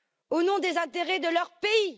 au nom des intérêts de leur pays.